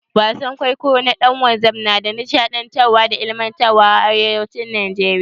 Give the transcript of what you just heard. Wasan kwaikwayo na dan wanzan ya na da nishaɗantarwa da ilimantarwa a arewacin najeriya.